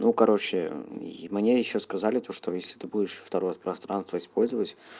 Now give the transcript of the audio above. ну короче мне ещё сказали то что если ты будешь второе пространство использовать